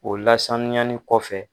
O lasanyani kɔfɛ.